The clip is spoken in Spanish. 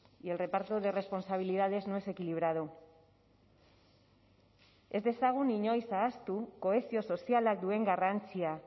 y el reparto de responsabilidades no es equilibrado ez dezagun inoiz ahaztu kohesio sozialak duen garrantzia